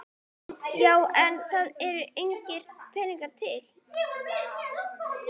Já en það eru engir peningar til.